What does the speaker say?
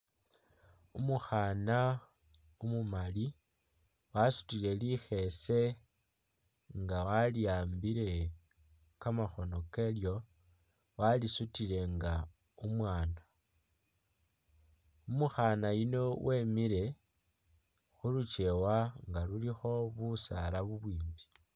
Umukhana umumali wasutile likhese nga wali'ambile kamakhono kalyo, walisutile nga umwana, umukhana yuno wemile khuluchiwa nga lulikho busaala bubwimbi